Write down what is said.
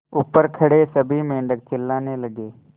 ऊपर खड़े सभी मेढक चिल्लाने लगे